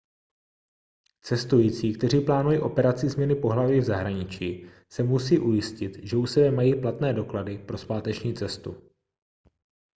cestující kteří plánují operaci změny pohlaví v zahraničí se musí ujistit že u sebe mají platné doklady pro zpáteční cestu